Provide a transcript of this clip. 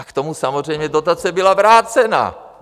A k tomu samozřejmě dotace byla vrácena!